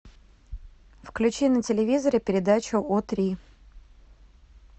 включи на телевизоре передачу о три